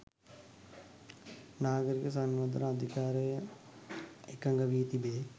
නාගරික සංවර්ධන අධිකාරිය එකඟ වී තිබේ.